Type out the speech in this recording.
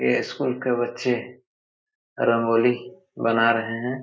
ये स्कूल के बच्चे रंगोली बना रहे हैं ।